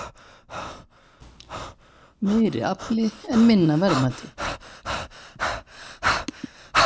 Meiri afli en minna verðmæti